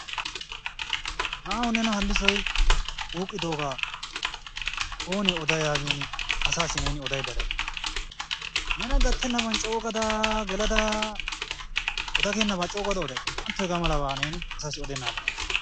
Na'awu nena Hallisoy wuuqqidoogaa oonee oday yaagin asaassi neeni odaydda de'ay? Nena gattennaban coogada gelada oda geennabaa coogada oday? Naa"antto hegaa malabaa neeni asassi odennaadan.